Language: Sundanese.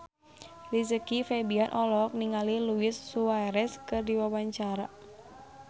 Rizky Febian olohok ningali Luis Suarez keur diwawancara